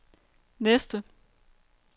næste